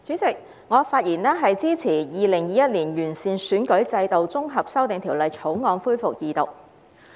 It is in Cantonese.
主席，我發言支持《2021年完善選舉制度條例草案》恢復二讀。